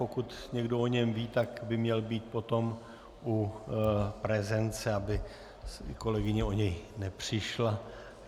Pokud někdo o něm ví, tak by měl být potom u prezence, aby kolegyně o něj nepřišla.